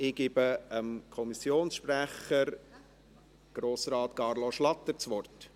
Ich gebe dem Kommissionssprecher, Grossrat Carlo Schlatter, das Wort.